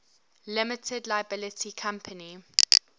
limited liability company